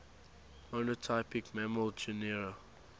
monotypic mammal genera